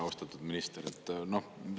Austatud minister!